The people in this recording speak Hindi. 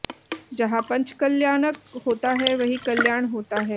जहां पंचकल्याणक होता है वहीं कल्याण होता है